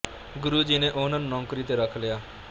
ਗੁਰੂ ਜੀ ਨੇ ਉਹਨਾਂ ਨੂੰ ਨੌਕਰੀ ਤੇ ਰੱਖ ਲਿਆ